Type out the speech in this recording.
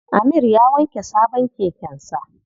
Amir ya wanke sabon keken sa.